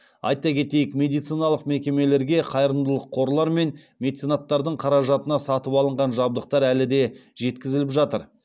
айта кетейік медициналық мекемелерге қайырымдылық қорлар мен меценаттардың қаражатына сатып алынған жабдықтар әлі де жеткізіліп жатыр